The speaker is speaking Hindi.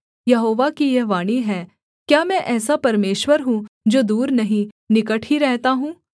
यहोवा की यह वाणी है क्या मैं ऐसा परमेश्वर हूँ जो दूर नहीं निकट ही रहता हूँ